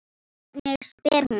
Hvernig spyr hún?